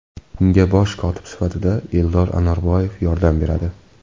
Unga bosh kotib sifatida Eldor Anorboyev yordam beradi.